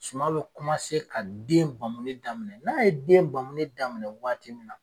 Suman bɛ ka den bamuli daminɛ, n'a ye den bamuni daminɛ waati min na